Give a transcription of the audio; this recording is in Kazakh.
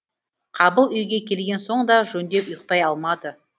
қабыл үйге келген соң да жөндеп ұйықтай алмады